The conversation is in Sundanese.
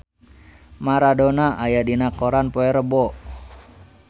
Maradona aya dina koran poe Rebo